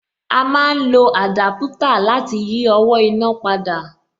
A má ń lo àdápútà láti yí owó iná padà